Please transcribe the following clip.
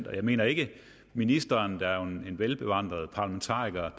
jeg mener ikke at ministeren der jo er en velbevandret parlamentariker